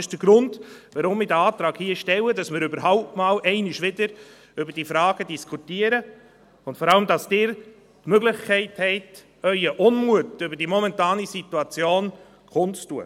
Das ist der Grund, weshalb ich den Antrag hier stelle – damit wir überhaupt wieder einmal über diese Fragen diskutieren, und vor allem, damit Sie die Möglichkeit haben, Ihren Unmut über die momentane Situation kund zu tun.